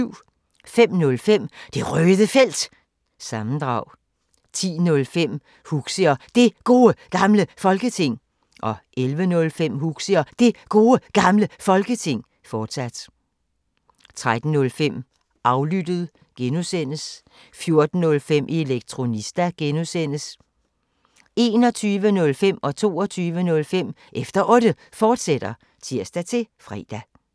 05:05: Det Røde Felt – sammendrag 10:05: Huxi og Det Gode Gamle Folketing 11:05: Huxi og Det Gode Gamle Folketing, fortsat 13:05: Aflyttet G) 14:05: Elektronista (G) 21:05: Efter Otte, fortsat (tir-fre) 22:05: Efter Otte, fortsat (tir-fre)